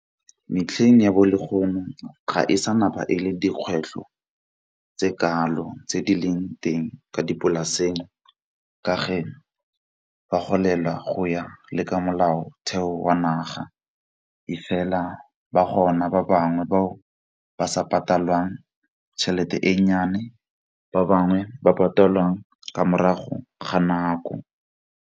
Metlheng ya bo le ga e sa e le dikgwetlho tse kalo tse di leng teng kwa dipolaseng, ka fa ba golela go ya le ka molaotheo wa naga. E fela ba gona ba bangwe ba ba sa patalwang tšhelete e nnyane ba bangwe ba patalang ka morago ga nako.